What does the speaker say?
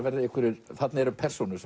verði einhverjir þarna eru persónur